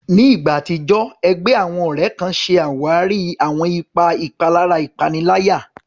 Ní ìgbà àtijọ́, ẹgbẹ́ àwọn ọ̀rẹ́ kan ṣe àwárí àwọn ipa ìpalára ìpaniláyà.